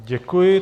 Děkuji.